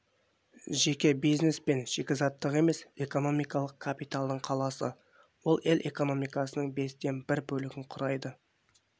жеке бизнес пен шикізаттық емес экономикалық капиталдың қаласы ол ел экономикасының бестен бір бөлігін құрайды